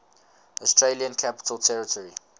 australian capital territory